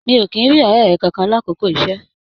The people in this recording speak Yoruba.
Mi o kìí n rí ọrẹ rẹ kánkan l'akoko iṣẹ.